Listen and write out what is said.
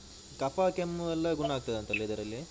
ಕಫ ಕೆಮ್ಮು ಎಲ್ಲ ಗುಣ ಆಗ್ತದಂತಲ್ಲ ಇದರಲ್ಲಿ?